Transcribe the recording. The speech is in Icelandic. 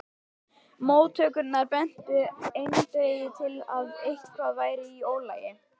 Móttökurnar bentu eindregið til að eitthvað væri í ólagi.